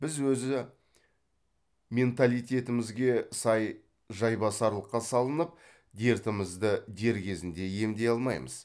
біз өзі менталитетімізге сай жайбасарлыққа салынып дертімізді дер кезінде емдей алмаймыз